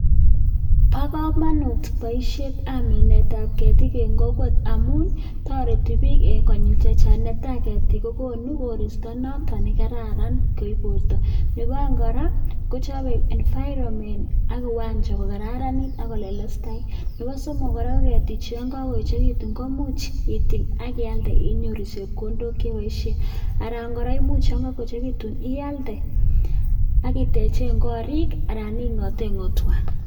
Bokomonut boishetab minetab ketik en kokwet amun toreti biik konyil chechang, netaa ketik kokonu koristo noton nekararan koib borto, nebo oeng kora kochobe environment ak kiwanja ko kararanit ak kllelestait, nebo somok kora ko ketichu Yoon kokoechekitun komuch itil ak ialde inyoru chepkondok cheboishen, aran kora imuch yoon kokoechekitun ialde ak itechen korik anan ingoten ngo'twa.